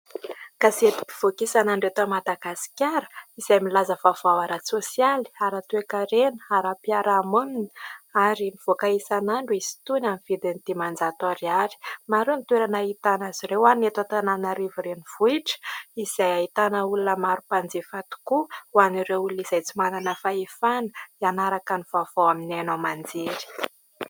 Gazety mpivoaka isan'andro eto Madagasikara izay milaza vaovao ara-tsosialy, ara-toekarena, ara-piarahamonina ary mivoaka isan'andro izy itony amin'ny vidiny dimanjato ariary. Maro ny toerana ahitana azy ireo ho an'ny eto Antananarivo renivohitra izay ahitana olona maro mpanjifa tokoa ho an'ireo olona izay tsy manana fahefana hanaraka ny vaovao amin'ny haino aman-jery.